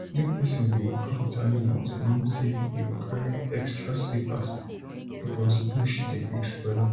make person dey waka with animals mean say you go carry extra slippers because bush dey quick spoil am